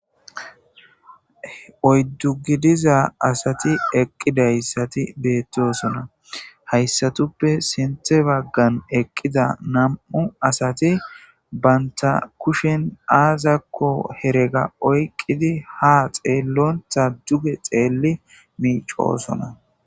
oyddu gidiza asati eqqidayssati beettosona hayssatuppe sinthe baggan eqqida nam7u asati banta kushen aazakko herega oyqqidi ha xeellontha duge xeelli miicoosona